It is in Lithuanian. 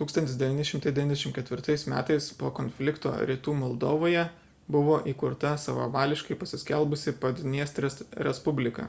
1994 m po šio konflikto rytų moldovoje buvo įkurta savavališkai pasiskelbusi padniestrės respublika